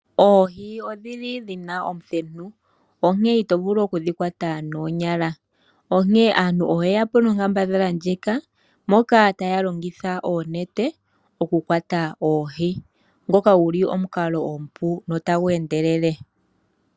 Oohi odhili dhina omuthenu, onkene ito vulu oku dhi kwata noonyala, onkene aantu oye ya po nonkambadhala ndjika moka taya longitha oonete oku kwata oohi, ngoka guli omukalo omupu notagu endelele.